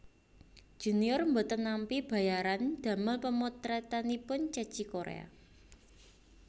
Junior mboten nampi bayaran damel pemotretanipun Ceci Korea